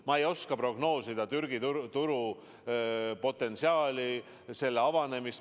Ma ei oska prognoosida Türgi turu potentsiaali, selle avanemist.